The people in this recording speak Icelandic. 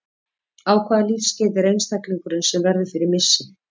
Á hvaða lífsskeiði er einstaklingurinn sem verður fyrir missi?